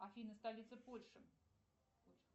афина столица польши